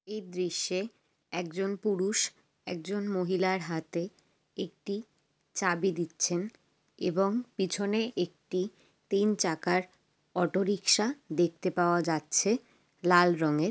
এই দৃশ্যে একজন পুরুষ একজন মহিলার হাতে একটি চাবি দিচ্ছেন এবং পিছনে একটি তিন চাকার অটো রিকশা দেখতে পাওয়া যাচ্ছে লাল রঙের।